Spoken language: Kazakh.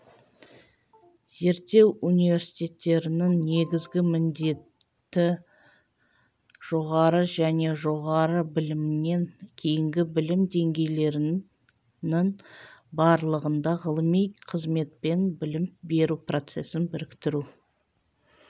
зерттеу университеттерінің негізгі міндеті жоғары және жоғары білімнен кейінгі білім деңгейлерінің барлығында ғылыми қызметпен білім беру процесін біріктіру